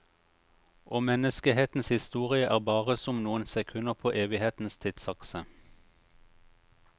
Og menneskehetens historie er bare som noen sekunder på evighetens tidsakse.